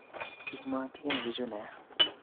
Iimotinge bichu nia